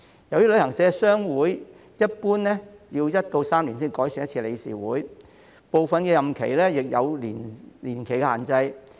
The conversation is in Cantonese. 由於旅行社商會一般要1至3年才改選一次理事會，部分任期亦有年期限制。